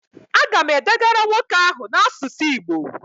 Agam edegara nwoke ahu na asusu igbo